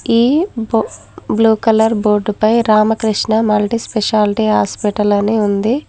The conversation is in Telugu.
ఈ బొ బ్లూ కలర్ బోర్డుపై రామకృష్ణ మల్టీ స్పెషాలిటీ హాస్పిటల్ అని ఉంది.